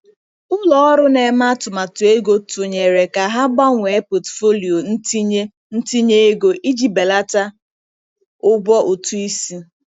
Ụlọ ọrụ na-eme atụmatụ ego tụnyere ka ha gbanwee pọtụfoliyo ntinye ntinye ego iji belata ụgwọ ụtụ isi.